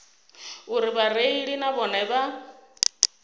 uri vhareili na vhone vha